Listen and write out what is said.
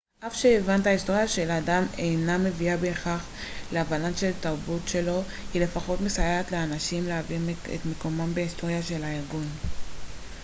אף שהבנת ההיסטוריה של אדם אינה מביאה בהכרח להבנה של התרבות שלו היא לפחות מסייעת לאנשים להבין את מקומם בהיסטוריה של הארגון